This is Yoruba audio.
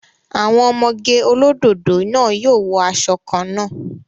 Àwọn ọmọge olódòdó náà yóò wọ asọ kan náà